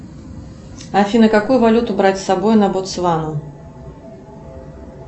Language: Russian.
афина какую валюту брать с собой на ботсвану